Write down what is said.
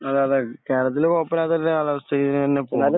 അതെ. അതെ. കേരളത്തിൽ കുഴപ്പമില്ലാത്ത ഒരു കാലാവസ്ഥയാണ്. ഇങ്ങനെ തന്നെ പോകുന്നു.